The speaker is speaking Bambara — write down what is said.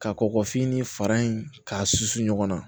Ka kɔkɔfini fara in k'a susu ɲɔgɔn na